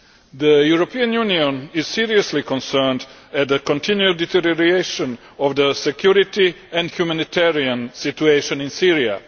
The European Union is seriously concerned at the continued deterioration of the security and humanitarian situation in Syria.